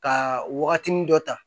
Ka wagatinin dɔ ta